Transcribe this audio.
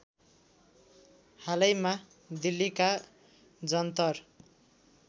हालैमा दिल्लीका जन्तर